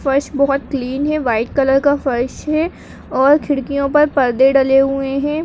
फर्श बहोत क्लीन है वाइट कलर का फर्श हैं और खिड़कियों पर परदे डले हुए हैं।